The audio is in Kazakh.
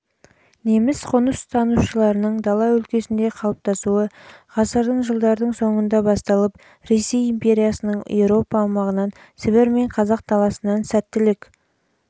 неміс қоныстанушыларының дала өлкесінде қалыптасуы ғасырдың жылдардың соңында басталып ресей империясының еуропа аумағынан сібір мен қазақ даласынан сәттілік